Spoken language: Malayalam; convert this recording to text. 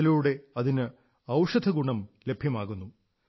അതിലൂടെ അതിന് ഔഷധഗുണം ലഭ്യമാകുന്നു